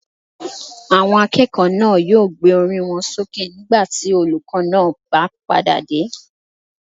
Àwọn akẹ́kọ̀ọ́ náà yóò gbé orí wọn sókè nígbà tí olùkó náà pá padà dé